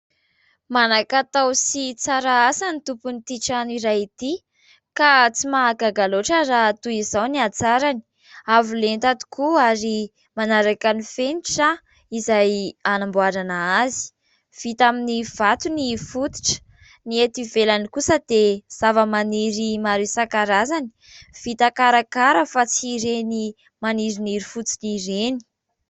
Manan-katao sy tsara asa ny tompon'ity trano iray ity ka tsy mahagaga loatra raha toy izao ny hatsarany, avolenta tokoa ary manaraka ny fenitra aho izay anamboarana azy, vita amin'ny vato ny fototra, ny eto ivelany kosa dia zavamaniry maro isankarazany, vita karakara fa tsy ireny maniriniry fotsiny ireny.